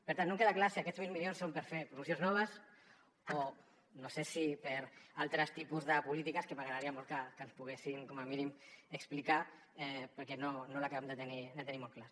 per tant no em queda clar si aquests mil milions són per fer promocions noves o no sé si per a altres tipus de polítiques que m’agradaria molt que ens poguessin com a mínim explicar perquè no ho acabem de tenir molt clar